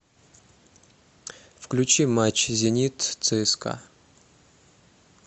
включи матч зенит цска